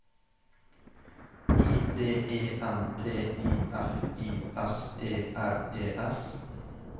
I D E N T I F I S E R E S